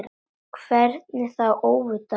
Hvernig þá óvitar?